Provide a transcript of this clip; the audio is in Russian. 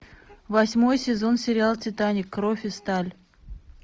восьмой сезон сериал титаник кровь и сталь